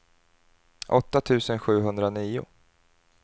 åtta tusen sjuhundranio